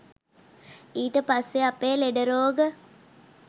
ඊට පස්සේ අපේ ලෙඩ රෝග